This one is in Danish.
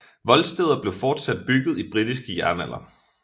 Voldsteder blev fortsat bygget i britisk jernalder